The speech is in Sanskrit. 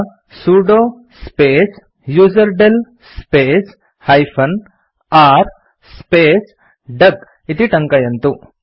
अत्र sudo space userdel space -r space duck इति टङ्कयन्तु